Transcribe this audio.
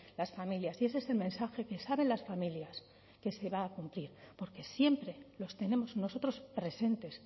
las familias y ese es el mensaje que saben las familias que se va a cumplir porque siempre los tenemos nosotros presentes